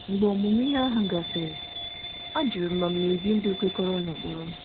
Mgbe ọmụmụ ihe ahụ gasịrị, ajụrụ m ma m na-ebi ndụ kwekọrọ n'ụkpụrụ m.